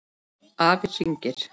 Afi hringir